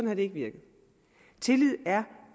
har det ikke virket tillid er